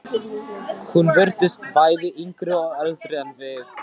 Hún virtist bæði yngri og eldri en við.